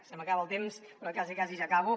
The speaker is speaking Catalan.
se m’acaba el temps però quasi quasi ja acabo